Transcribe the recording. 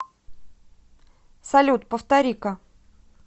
салют повтори ка